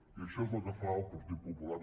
i això és el que fa el partit popular